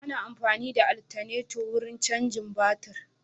Ana amfani da altaneto wurin cajin batir.